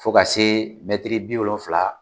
Fo ka se bi wolonfila